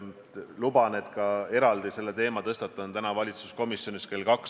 Luban, et ma tõstatan selle teema ka täna valitsuskomisjonis kell kaks.